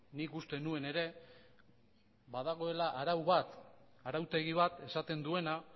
nik uste nuen ere badagoela arau bat arautegi bat esaten duena